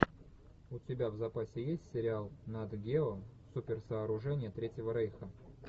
у тебя в запасе есть сериал нат гео суперсооружения третьего рейха